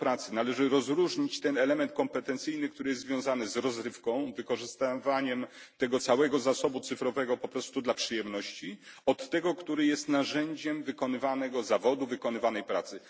Należy odróżnić element kompetencyjny, który jest związany z rozrywką, wykorzystywaniem tego całego zasobu cyfrowego po prostu do przyjemności, od tego, który jest narzędziem wykonywanego zawodu, wykonywanej pracy.